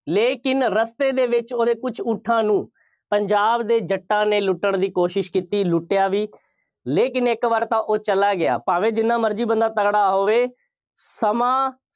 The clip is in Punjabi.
ਲੇਕਿਨ ਰਸਤੇ ਦੇ ਵਿੱਚ ਉਹਦੇ ਕੁੱਝ ਊਠਾਂ ਨੂੰ ਪੰਜਾਬ ਦੇ ਜੱਟਾਂ ਨੇ ਲੁੱਟਣ ਦੀ ਕੋਸ਼ਿਸ਼ ਕੀਤੀ, ਲੁੱਟਿਆ ਵੀ, ਲੇਕਿਨ ਇੱਕ ਵਾਰ ਤਾਂ ਉਹ ਚਲਾ ਗਿਆ। ਭਾਵੇਂ ਜਿੰਨਾ ਮਰਜ਼ੀ ਬੰਦਾ ਤਕੜਾ ਹੋਵੇ। ਸਮਾਂ